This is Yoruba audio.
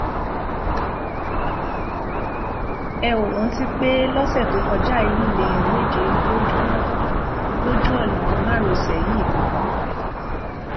ẹ óò rántí pé lọsẹ tó kọjá yìí lèèyàn méje ló jóná kú lójú ọnà márosẹ yìí kan náà